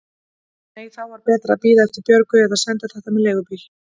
Nei, þá var betra að bíða eftir Björgu eða senda þetta með leigubíl.